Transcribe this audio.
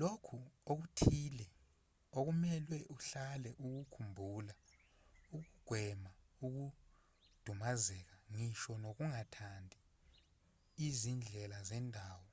lokhu okuthile okumelwe uhlale ukukhumbula ukugwema ukudumazeka ngisho nokungathandi izindlela zendawo